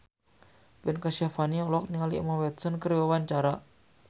Ben Kasyafani olohok ningali Emma Watson keur diwawancara